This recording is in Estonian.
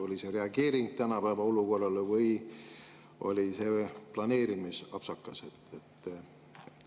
Oli see reageering tänapäeva olukorrale või oli see planeerimisapsakas?